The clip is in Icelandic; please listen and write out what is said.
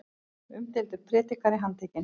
Umdeildur prédikari handtekinn